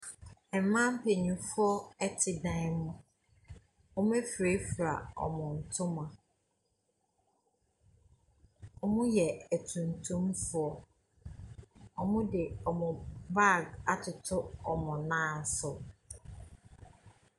Mmaa mpanimfoɔ te dan mu, wɔafurafura wɔn ntoma. Wɔyɛ atuntumfoɔ. Wɔde wɔn baage atoto wɔn nan so.